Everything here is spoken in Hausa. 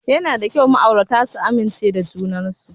Yana da kyau ma'aurata su amincewa junan su.